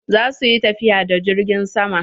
Za su yi tafiya da jirgin sama.